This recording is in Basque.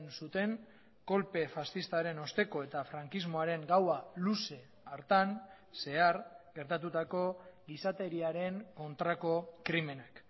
zuten kolpe faxistaren osteko eta frankismoaren gaua luze hartan zehar gertatutako gizateriaren kontrako krimenak